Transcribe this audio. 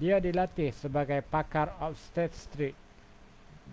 dia dilatih sebagai pakar obstetrik